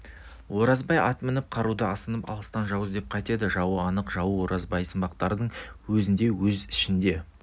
оразбай ат мініп қару асынып алыстан жау іздеп қайтеді жауы анық жауы оразбайсымақтардың өзінде өз ішінде